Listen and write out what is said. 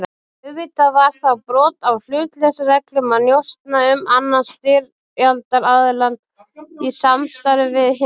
Auðvitað var það brot á hlutleysisreglum að njósna um annan styrjaldaraðiljann í samstarfi við hinn.